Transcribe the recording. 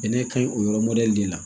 Bɛnɛ ka ɲi o yɔrɔ mɔdɛli de la